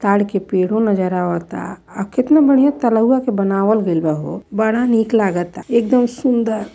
ताड़ के पेड़ों नजर आवता। आ केतना बढ़ियां तलउवा के बनावल गइल बा हो। बड़ा नीक लागाता एकदम सुंदर --